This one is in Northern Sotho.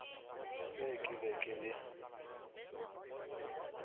se ke be ke le